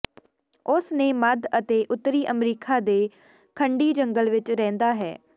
ਉਸ ਨੇ ਮੱਧ ਅਤੇ ਉੱਤਰੀ ਅਮਰੀਕਾ ਦੇ ਖੰਡੀ ਜੰਗਲ ਵਿਚ ਰਹਿੰਦਾ ਹੈ